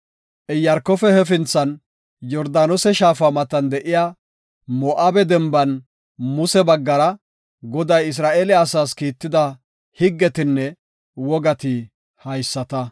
Iyaarkofe hefinthan, Yordaanose shaafa matan, de7iya Moo7abe Denban Muse baggara, Goday Isra7eele asaas kiitida higgetinne wogati haysata.